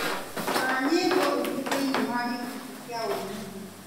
rora nyĩmbo ingĩ thĩinĩ wa gĩkundi kĩa wũini